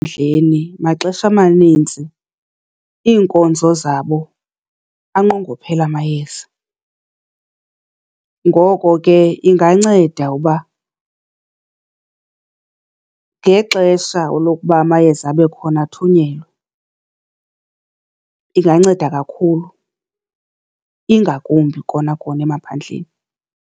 maxesha manintsi iinkonzo zabo anqongophele amayeza. Ngoko ke inganceda uba ngexesha lokuba amayeza abe khona athunyelwe. Inganceda kakhulu ingakumbi kona kona emaphandleni.